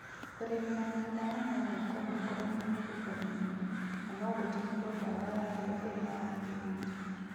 kũrĩmĩra na dawa nogwĩkwo angĩkorwo nĩ mũgũnda mũnene no gũtũmĩrwo dawa ya ria ïrĩa ya gĩrĩire